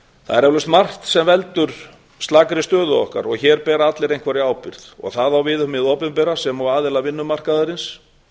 er eflaust margt sem veldur slakri stöðu okkar og hér bera allir einhverja ábyrgð og það á við um hið opinbera sem og aðila vinnumarkaðarins